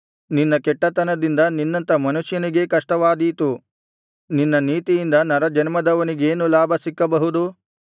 ನಿನ್ನ ಕೆಟ್ಟತನದಿಂದ ನಿನ್ನಂಥ ಮನುಷ್ಯನಿಗೇ ನಷ್ಟವಾದೀತು ನಿನ್ನ ನೀತಿಯಿಂದ ನರಜನ್ಮದವನಿಗೇನು ಲಾಭ ಸಿಕ್ಕಬಹುದು